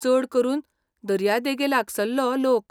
चड करून दर्यादेगेलागसल्लो लोक.